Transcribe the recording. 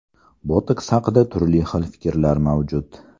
Botoks haqida turli xil fikrlar mavjud.